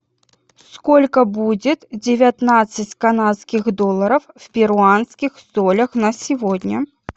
сколько будет девятнадцать канадских долларов в перуанских солях на сегодня